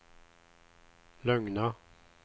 lugna